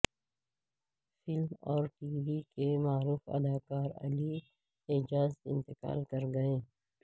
film اور TV وی کے معروف اداکارعلی اعجاز انتقال کر گئے